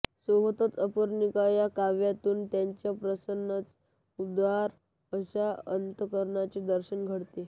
सोबतचअर्पणिका या काव्या्तून त्यांच्या प्रसन्नच उदार अशा अंतकरणाचे दर्शन घडते